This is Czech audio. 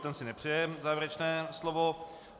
Ten si nepřeje závěrečné slovo.